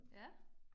Ja